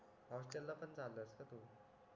hostel ला पण चालास का तू